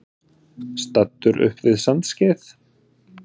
Staddur upp við Sandskeið.